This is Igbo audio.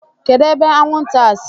Kedu ebe anwụ nta a si?